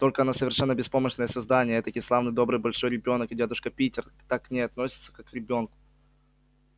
только она совершенно беспомощное создание этакий славный добрый большой ребёнок и дядюшка питер так к ней и относится как к ребёнку